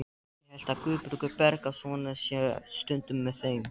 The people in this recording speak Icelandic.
Ég held að Guðbergur Bergsson sé stundum með þeim.